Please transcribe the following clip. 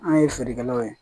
An ye feerekɛlaw ye